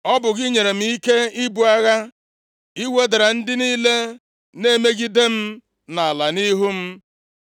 Ọ bụ gị nyere m ike ibu agha. I wedara ndị niile na-emegide m nʼala nʼihu m.